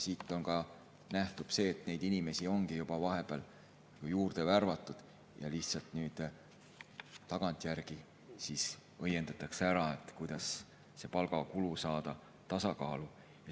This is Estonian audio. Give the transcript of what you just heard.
Siit ka nähtub, et inimesi ongi vahepeal juurde värvatud ja nüüd tagantjärgi õiendatakse ära, kuidas see palgakulu saada tasakaalu.